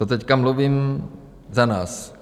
To teď mluvím za nás.